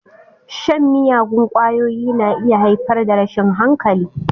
Shan miyagun ƙwayoyi na iya haifar da rashin hankali.